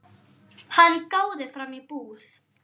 Hann gáði fram í búð.